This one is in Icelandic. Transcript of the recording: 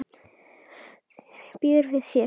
Býður við þér.